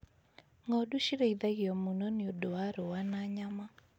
Ng'ondu cirĩithagio mũno nĩũndũ wa rũa na nyama.